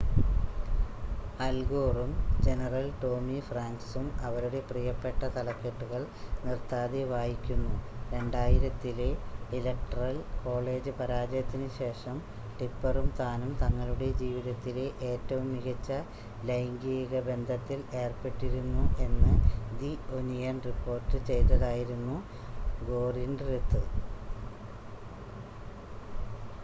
അൽ ഗോറും general Tommy ഫ്രാങ്ക്‌സും അവരുടെ പ്രിയപ്പെട്ട തലക്കെട്ടുകൾ നിർത്താതെ വായിക്കുന്നു 2000-ത്തിലെ ഇലക്ടറൽ കോളേജ് പരാജയത്തിന് ശേഷം ടിപ്പെറും താനും തങ്ങളുടെ ജീവിതത്തിലെ ഏറ്റവും മികച്ച ലൈംഗിക ബന്ധത്തിൽ ഏർപ്പെട്ടിരുന്നു എന്ന് ദി ഒനിയൻ റിപ്പോർട്ട് ചെയ്തതായിരുന്നു ഗോറിന്റെത്